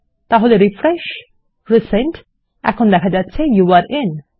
তাহলে refresh resend এবং যৌরে in